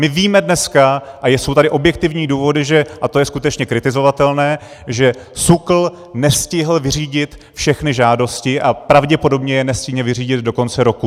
My víme dneska, a jsou tady objektivní důvody, a to je skutečně kritizovatelné, že SÚKL nestihl vyřídit všechny žádosti a pravděpodobně je nestihne vyřídit do konce roku.